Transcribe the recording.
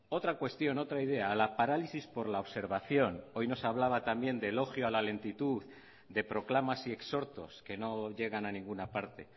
otra cuestión otra idea la parálisis por la observación hoy nos hablaba también de elogio a la lentitud de proclamas y exhortos que no llegan a ninguna parte